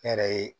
Ne yɛrɛ ye